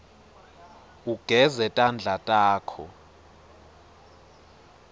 ugeze tandla takho